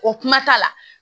O kuma t'a la